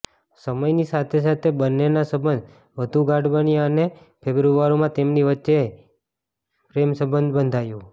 સમયની સાથે સાથે બંનેના સંબંધ વધુ ગાઢ બન્યા અને ફેબ્રુઆરીમાં તેમની વચ્ચે પ્રેમસંબંધ બંધાયો